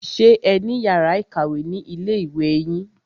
Ṣé ẹ ní yàrá ìkàwé ni ilé ìwé yín?